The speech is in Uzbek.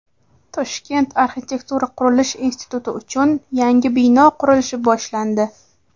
Toshkent arxitektura-qurilish instituti uchun yangi bino qurilishi boshlandi.